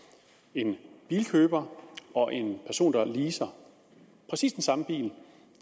en bilkøber og en person der leaser præcis den samme bil